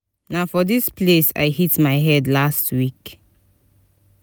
na for dis place i hit my head last week